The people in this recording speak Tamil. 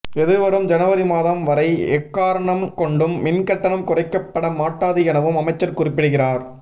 எதிர்வரும் ஜனவரி மாதம் வரை எக்காரணம் கொண்டும் மின்கட்டணம் குறைக்கப்பட மாட்டாது எனவும் அமைச்சர் குறிப்பிடுகிறார்